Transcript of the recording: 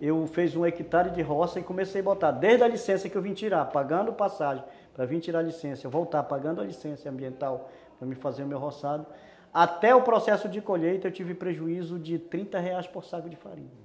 eu fiz um hectare de roça e comecei a botar, desde a licença que eu vim tirar, pagando passagem, para vir tirar licença, eu voltar pagando a licença ambiental, para me fazer o meu roçado, até o processo de colheita, eu tive prejuízo de trinta reais por saco de farinha.